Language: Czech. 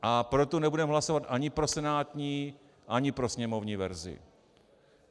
A proto nebudeme hlasovat ani pro senátní, ani pro sněmovní verzi.